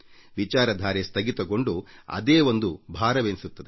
ವಿಚಾರಧಾರೆ ಸ್ಥಗಿತಗೊಂಡು ಅದೇ ಒಂದು ಭಾರವೆನಿಸುತ್ತದೆ